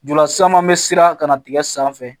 Jɔlan san m'an siran ka na tigɛ sanfɛ